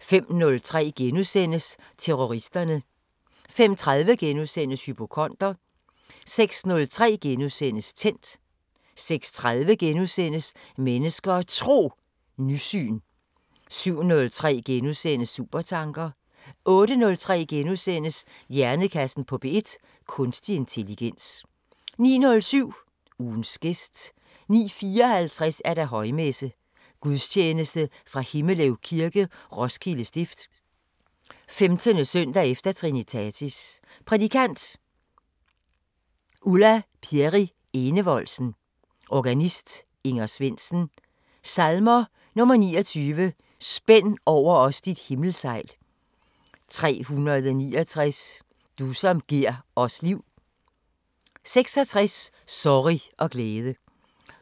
05:03: Terroristerne * 05:30: Hypokonder * 06:03: Tændt * 06:30: Mennesker og Tro: Nysyn * 07:03: Supertanker * 08:03: Hjernekassen på P1: Kunstig intelligens * 09:07: Ugens gæst 09:54: Højmesse - Gudstjeneste fra Himmelev Kirke, Roskilde Stift. 15. søndag efter Trinitatis. Prædikant: Ulla Pierri Enevoldsen. Organist: Inger Svendsen. Salmer: 29. "Spænd over os dit himmelsejl" 369: "Du som gir os liv" 46: "Sorrig og glæde"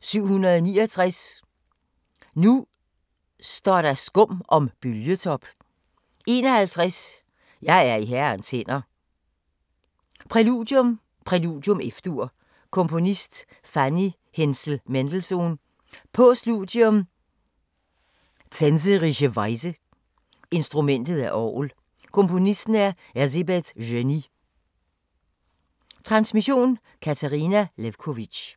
769: "Nu står der skum om bølgetop" 51: "Jeg er i Herrens hænder" Præludium: Præludium, F-Dur. Komponist: Fanny Hensel-Mendelssohn. Postludium: Tänzerische Weise. Instrument: Orgel. Komponist: Erzébet Szöny. Transmission: Katarina Lewkovitch.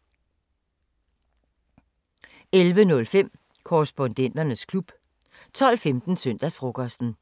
11:05: Korrespondenternes klub 12:15: Søndagsfrokosten